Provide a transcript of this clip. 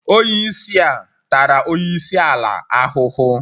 onye isi a tara onye isi ala ahuhu.